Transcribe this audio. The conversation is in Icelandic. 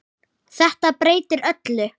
Þetta breytir öllu.